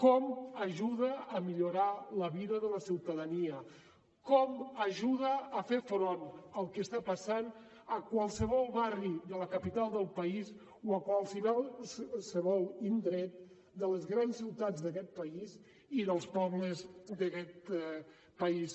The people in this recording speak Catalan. com ajuda a millorar la vida de la ciutadania com ajuda a fer front al que està passant a qualsevol barri de la capital del país o a qualsevol indret de les grans ciutats d’aquest país i dels pobles d’aguest país